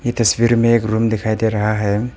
ये तस्वीर में एक रूम दिखाई दे रहा है।